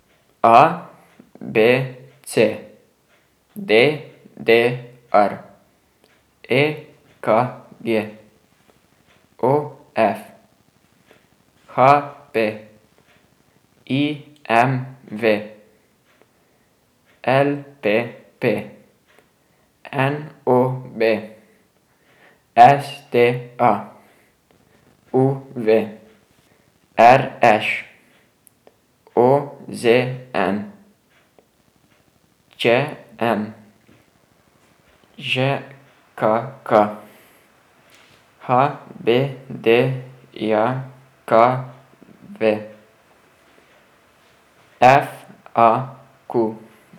A B C; D D R; E K G; O F; H P; I M V; L P P; N O B; S T A; U V; R Š; O Z N; Č M; Ž K K; H B D J K V; F A Q.